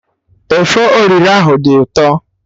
Efọriro ahụ dị ụtọ